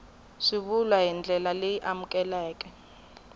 swivulwa hi ndlela leyi amukelekaka